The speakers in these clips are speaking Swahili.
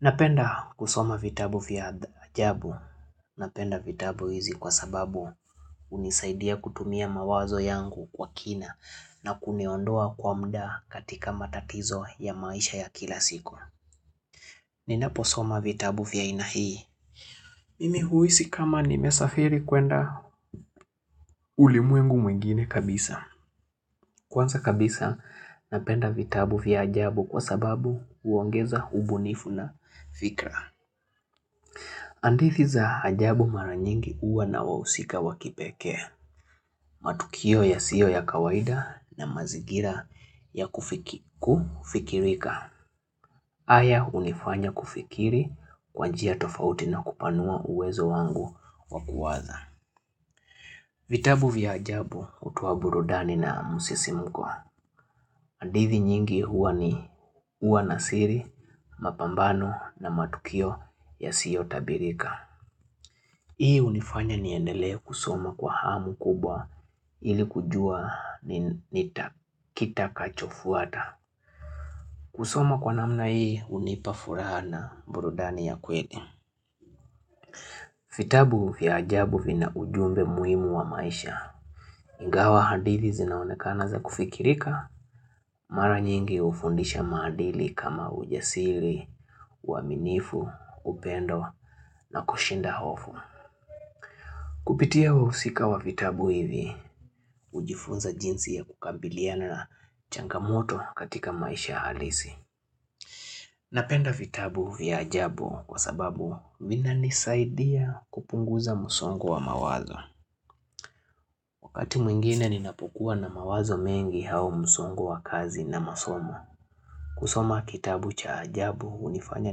Napenda kusoma vitabu vya ajabu. Napenda vitabu hizi kwa sababu hunisaidia kutumia mawazo yangu kwa kina na kuniondoa kwa mda katika matatizo ya maisha ya kila siku. Ninapo soma vitabu vya ainahii. Mimihuisi kama nimesafiri kuenda, ulimwengu mwingine kabisa. Kwanza kabisa napenda vitabu vya ajabu kwa sababu huongeza ubunifu na fikra. Hadithi za ajabu mara nyingi huwa na wahusika wakipeke, matukio ya sio ya kawaida na mazigira ya kufiki ku kufikirika. Aya hunifanya kufikiri kwanjia tofauti na kupanua uwezo wangu wakuwaza. Vitabu vya ajabu hutoa burudani na msisimuko. Handithi nyingi huwa ni huwa nasiri, mapambano na matukio ya sio tabirika. Hii unifanya niendelee kusoma kwa hamu kubwa ili kujua ni nita kitakachofuata. Kusoma kwa namna hii hunipafuraha na burudani ya kweli. Vitabu vya ajabu vina ujumbe muhimu wa maisha. Ingawa hadithi zinaonekana za kufikirika, mara nyingi hufundisha madili kama ujasiri, uaminifu, upendo na kushinda hofu. Kupitia wahusika wa vitabu hivi, hujifunza jinsi ya kukambiliana na changamoto katika maisha halisi. Napenda vitabu vya ajabu kwa sababu mina nisaidia kupunguza msongo wa mawazo. Wakati mwingine ninapokuwa na mawazo mengi hau msongo wa kazi na masomo. Kusoma kitabu cha ajabu hunifanya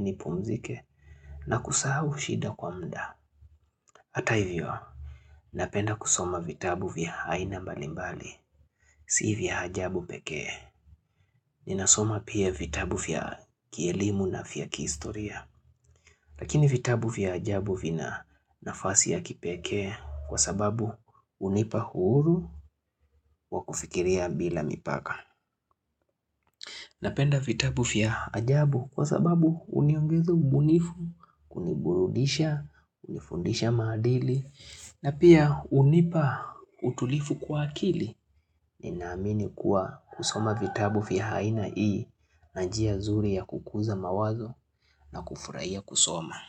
nipumzike na kusahu shida kwa mda. Hata hivyo, napenda kusoma vitabu vya haina mbalimbali. Sivya hajabu pekee, ninasoma pia vitabu fya kielimu na fya kihistoria. Lakini vitabu fya hajabu vina nafasi ya kipekee kwa sababu hunipa huru wa kufikiria bila mipaka. Napenda vitabu fya hajabu kwa sababu huniongeza ubunifu, kuniburudisha, unifundisha madili, na pia unipa utulifu kwa akili. Ninaamini kuwa kusoma vitabu fya aina ii na njia zuri ya kukuza mawazo na kufurahiya kusoma.